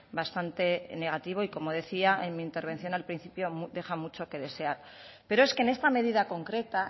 bastante negativo y como decía en mi intervención al principio deja mucho que desear pero es que en esta medida concreta